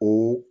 O